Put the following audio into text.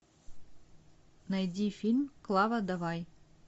найди фильм клава давай